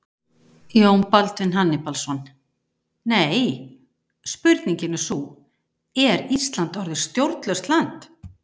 Jón Baldvin Hannibalsson: Nei, spurningin er sú, er Ísland orðið stjórnlaust land?